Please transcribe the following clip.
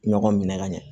Ɲɔgɔn minɛ ka ɲɛ